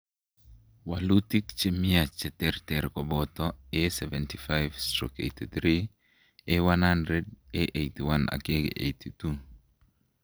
walutik che miach cheterter koboto: A75/83, A100, A81 ak A82.